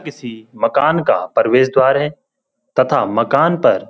किसी मकान का प्रवेश द्वार है तथा मकान पर --